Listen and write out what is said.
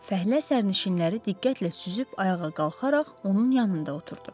Fəhlə sərnişinləri diqqətlə süzüb ayağa qalxaraq onun yanında oturdu.